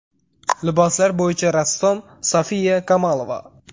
Liboslar bo‘yicha rassom Sofiya Kamolova.